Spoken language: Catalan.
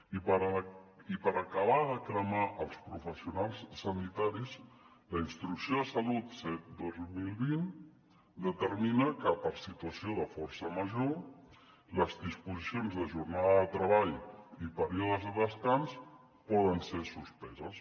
i per acabar de cremar els professionals sanitaris la instrucció de salut set dos mil vint determina que per situació de força major les disposicions de jornada de treball i períodes de descans poden ser suspeses